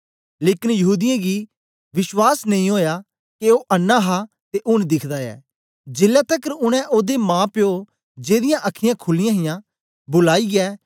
लेकन यहूदीयें गी विश्वास नेई ओया के ओ अन्नां हा ते ऊन दिखदा ऐ जेलै तकर उनै ओदे माप्यो जेदीयां अखीयाँ खुलीयां हां बुलाईयै